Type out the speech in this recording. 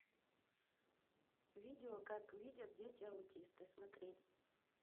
видео как видят дети аутисты смотреть